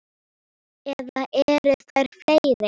Eða eru þær fleiri?